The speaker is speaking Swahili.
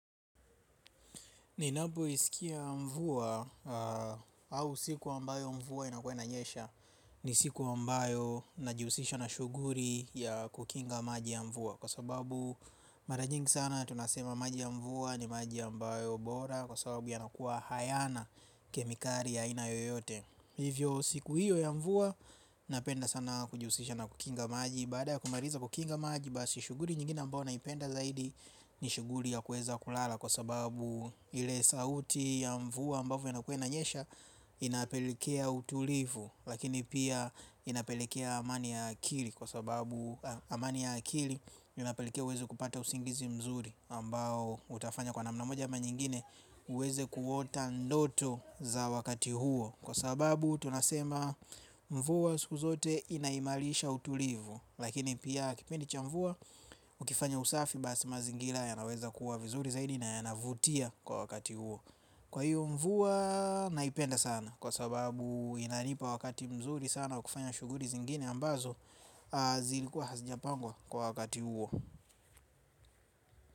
Ninapoisikia mvua au siku ambayo mvua inakuwa inanyesha ni siku ambayo najihusisha na shughuli ya kukinga maji ya mvua kwa sababu mara nyingi sana tunasema maji ya mvua ni maji ambayo bora kwa sababu yanakuwa hayana kemikali ya aina yoyote. Hivyo siku hiyo ya mvua napenda sana kujihusisha na kukinga maji baada ya kumaliza kukinga maji basi shughuli nyingine ambayo naipenda zaidi ni shughuli ya kuweza kulala kwa sababu ile sauti ya mvua ambavyo inakuwa inanyesha inapelekea utulivu lakini pia inapelekea amani ya akili kwa sababu amani ya akili inapelekea uweze kupata usingizi mzuri ambao utafanya kwa namna moja ama nyingine uweze kuota ndoto za wakati huo kwa sababu tunasema mvua siku zote inaimarisha utulivu. Lakini pia kipindi cha mvua ukifanya usafi basi mazingira yanaweza kuwa vizuri zaidi na yanavutia kwa wakati huo. Kwa hiyo mvua naipenda sana kwa sababu inanipa wakati mzuri sana wa kufanya shughuli zingine ambazo zilikuwa hazijapangwa kwa wakati huo.